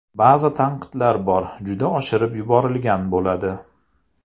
Ba’zi tanqidlar bor juda oshirib yuborilgan bo‘ladi.